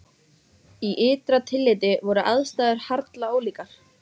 Í ytra tilliti voru aðstæður harla ólíkar.